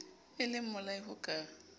e le mmolai ho ka